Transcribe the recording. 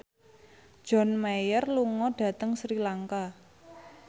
John Mayer lunga dhateng Sri Lanka